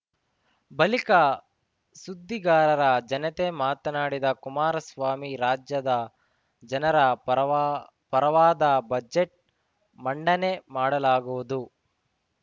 ಬಳಿಕ ಸುದ್ದಿಗಾರರ ಜನತೆ ಮಾತನಾಡಿದ ಕುಮಾರಸ್ವಾಮಿ ರಾಜ್ಯದ ಜನರ ಪರ ಪರವಾದ ಬಜೆಟ್‌ ಮಂಡನೆ ಮಾಡಲಾಗುವುದು